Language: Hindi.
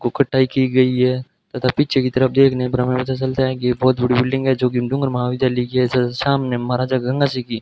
गोखटाई की गई है तथा पीछे की तरफ देखने पर हमें चलता है कि बहोत बड़ी बिल्डिंग है जोकि डूंगर महाविद्यालय की है सामने महाराजा गंगा सिंह की --